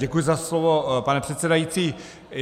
Děkuji za slovo, pane předsedající.